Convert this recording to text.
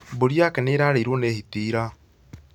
Mbũri yake nĩ ĩrarĩirwo nĩ hiti ira